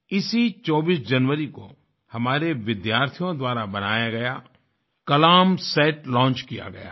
इसी 24 जनवरी को हमारे विद्यार्थियों द्वारा बनाया गया कलाम सेटलॉन्च किया गया है